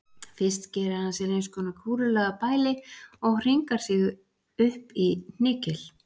Fyrst gerir hann sér eins konar kúlulaga bæli og hringar sig upp í hnykil.